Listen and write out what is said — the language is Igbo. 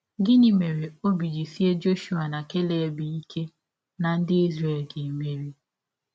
Gịnị mere ọbi ji sịe Jọshụa na Keleb ike na ndị Izrel ga - emeri?